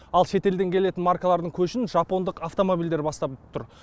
ал шетелден келетін маркалардың көшін жапондық автомобильдер бастап тұр